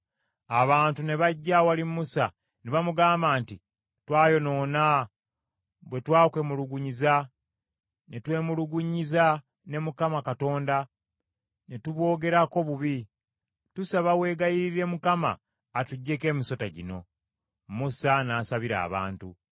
Abantu ne bajja awali Musa, ne bamugamba nti, “Twayonoona bwe twakwemulugunyiza ne twemulugunyiza ne Mukama Katonda, ne tuboogerako bubi. Tusaba weegayirire Mukama atuggyeko emisota gino.” Musa n’asabira abantu.